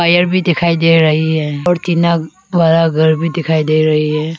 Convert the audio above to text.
पेड़ भी दिखाई दे रही है और टीना वाला घर भी दिखाई दे रही है।